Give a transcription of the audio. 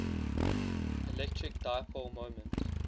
electric dipole moment